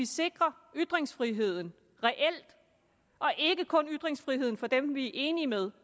sikrer ytringsfriheden og ikke kun sikrer ytringsfriheden for dem vi er enige med